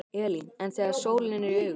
Elín: En þegar sólin er í augun?